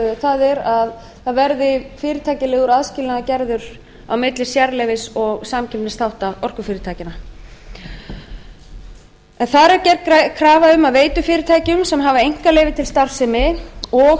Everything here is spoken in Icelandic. það er að það verði fyrirtækjalegur aðskilnaður gerður á milli sérleyfis og samkeppnisþátta orkufyrirtækjanna það er gerð krafa um að veitufyrirtækjum sem hafa einkaleyfi til starfsemi og